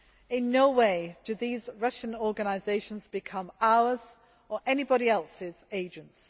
In no way do these Russian organisations become our, or anybody else's, agents